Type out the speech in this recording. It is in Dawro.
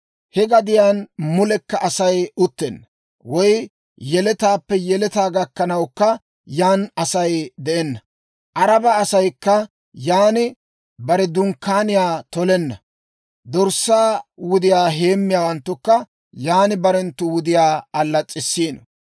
He gadiyaan mulekka Asay uttenna; woy yeletaappe yeletaa gakkanawukka yan Asay de'enna; Araba asaykka yan bare dunkkaaniyaa tolenna; dorssaa wudiyaa heemmiyaawanttukka yan barenttu wudiyaa allas's'issiino.